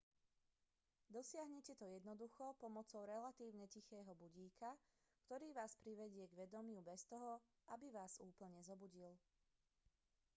dosiahnete to jednoducho pomocou relatívne tichého budíka ktorý vás privedie k vedomiu bez toho aby vás úplne zobudil